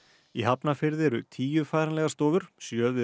í Hafnarfirði eru tíu færanlegur stofur sjö við